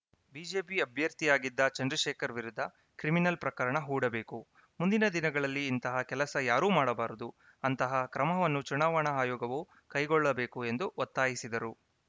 BJP ಅಭ್ಯರ್ಥಿಯಾಗಿದ್ದ ಚಂದ್ರಶೇಖರ್‌ ವಿರುದ್ಧ criminal ಪ್ರಕರಣ ಹೂಡಬೇಕು ಮುಂದಿನ ದಿನದಲ್ಲಿ ಇಂತಹ ಕೆಲಸ ಯಾರೂ ಮಾಡಬಾರದು ಅಂತಹ ಕ್ರಮವನ್ನು ಚುನಾವಣಾ ಆಯೋಗವು ಕೈಗೊಳ್ಳಬೇಕು ಎಂದು ಒತ್ತಾಯಿಸಿದರು